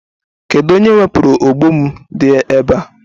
Kedụ onye wepụrụ ogbo m dị ebe a?